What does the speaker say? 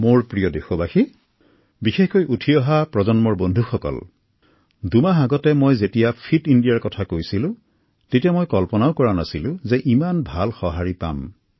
মোৰ প্ৰিয় দেশবাসী বিশেষকৈ মোৰ যুৱ বন্ধুসকল দুমাহ আগতে মই যেতিয়া ফিট ইণ্ডিয়াৰ কথা কৈছিলো তেতিয়া মই কল্পলাও কৰা নাছিলো যে ইমান সুন্দৰ সহাঁৰি লাভ কৰিম